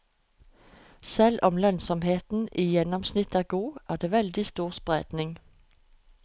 Selv om lønnsomheten i gjennomsnitt er god, er det veldig stor spredning.